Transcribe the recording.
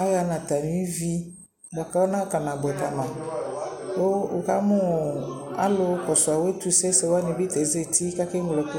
aha nʋ atami ivi bʋakʋ ana kana bʋɛ kama kʋ wʋkamʋ alʋ kɔsʋ awʋ ɛtʋsɛ sɛ wani bi ta azati kʋ akɛ mlɔ ɛkʋ